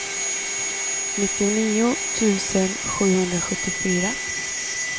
nittionio tusen sjuhundrasjuttiofyra